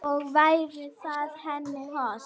Og væri það henni hollt?